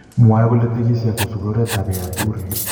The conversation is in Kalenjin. Mwae kole tekisi ak kosubii oret ab Yaya Toure